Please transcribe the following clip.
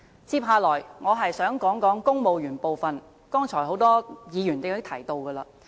接下來，我想談談公務員的部分，剛才已有很多議員提及。